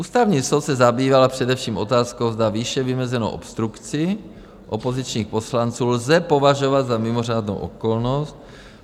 Ústavní soud se zabýval především otázkou, zda výše vymezenou obstrukci opozičních poslanců lze považovat za mimořádnou okolnost.